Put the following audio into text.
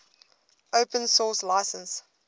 open source license